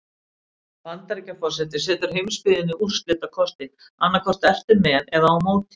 Bandaríkjaforseti setur heimsbyggðinni úrslitakosti: annað hvort ertu með eða á móti.